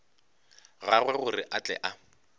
gagwe gore a tle a